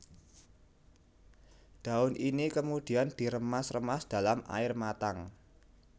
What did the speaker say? Daun ini kemudian diremas remas dalam air matang